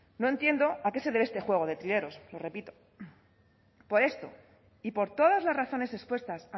no entiendo a qué se debe este juego de trileros lo repito por esto y por todas las razones expuestas